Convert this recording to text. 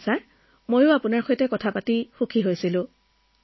ধন্যবাদ ছাৰ মইও আপোনাৰ লগত কথা পাতি বহুত আনন্দিত হৈছো